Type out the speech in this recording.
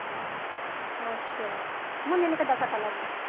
ਅੱਛਾ ਮੁੰਨੀ ਦੇ ਕਿਦਾ ਸੱਟਾ ਲਾਗ ਗਿਆ